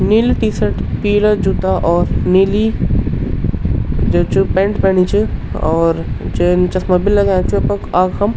नीली टी-शर्ट पीला जुता और नीली जो च पेंट पेनी च और जैन चस्मा भी लगयाँ च अपड आख्नम।